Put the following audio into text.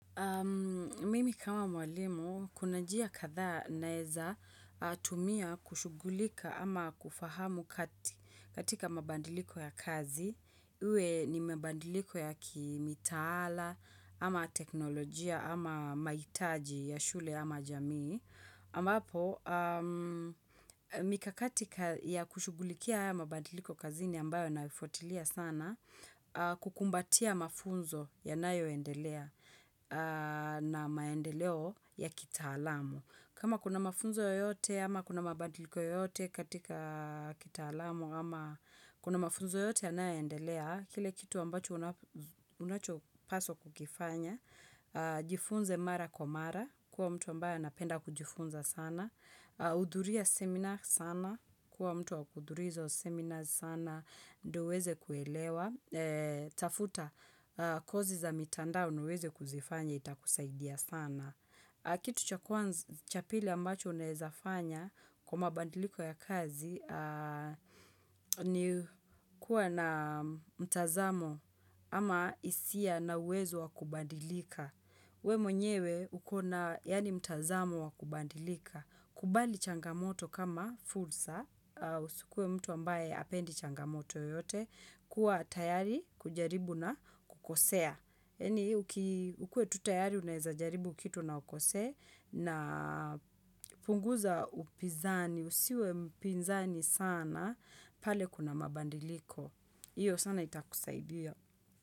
Mimi kama mwalimu, kuna njia kadhaa naeza tumia kushughulika ama kufahamu katika mabadiliko ya kazi, iwe ni mabadiliko ya kimitaala ama teknolojia ama mahitaji ya shule ama jamii. Ambapo, mikakati ya kushughulikia haya mabadiliko kazini ambayo ninayo fuatilia sana, kukumbatia mafunzo yanayo endelea na maendeleo ya kitaalamu. Kama kuna mafunzo yoyote, ama kuna mabadiliko yoyote katika kitaalamu, ama kuna mafunzo yoyote yanayo endelea, kile kitu ambacho unachopaswa kukifanya, jifunze mara kwa mara, kuwa mtu ambaye anapenda kujifunza sana, hudhuria seminar sana, kuwa mtu wa kuhudhuria hizo seminar sana, ndio uweze kuelewa, tafuta kosi za mitandao nauweze kuzifanya ita kusaidia sana. Kitu cha pili ambacho unaezafanya kwa mabadiliko ya kazi ni kuwa na mtazamo ama hisia na uwezo wa kubadilika. We mwenyewe ukona yani mtazamo wa kubadilika. Kubali changamoto kama fursa, usikue mtu ambaye hapendi changamoto yoyote, kuwa tayari kujaribu na kukosea. Yani ukue tutayari unaweza jaribu kitu na ukose na punguza upinzani, usiwe mpinzani sana pale kuna mabadiliko. Hiyo sana ita kusaidia.